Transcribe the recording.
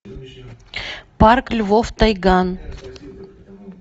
парк львов тайган